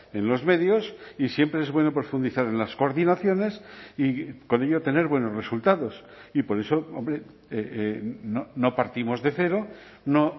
en los medios y siempre es bueno profundizar en las coordinaciones y con ello tener buenos resultados y por eso hombre no partimos de cero no